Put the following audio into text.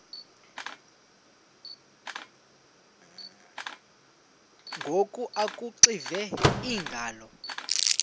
ngoku akuxiva iingalo